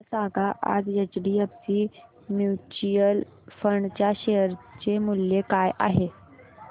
मला सांगा आज एचडीएफसी म्यूचुअल फंड च्या शेअर चे मूल्य काय आहे